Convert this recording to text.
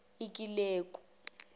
ikileku